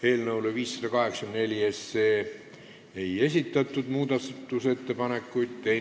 Eelnõu 584 kohta muudatusettepanekuid ei esitatud.